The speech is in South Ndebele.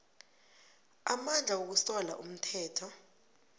amandla wokusola umthetho